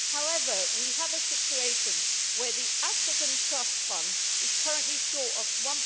However, we have a situation where the African Trust Fund is currently short of EUR